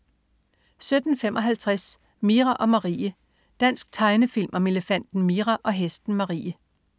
17.55 Mira og Marie. Dansk tegnefilm om elefanten Mira og hesten Marie